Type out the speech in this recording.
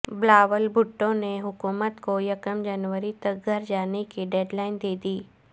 بلاول بھٹو نے حکومت کو یکم جنوری تک گھر جانے کی ڈیڈ لائن دیدی